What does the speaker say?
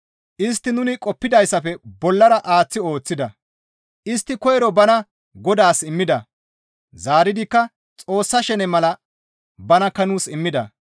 Istti nuni qoppidayssafe bollara aaththi ooththida; istti koyro bana Godaas immida; zaaridikka Xoossa shene mala banakka nuus immida.